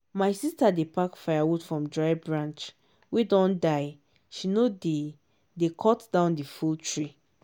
my sister dey pack firewood from dry branch wey don die she no dey dey cut down the full tree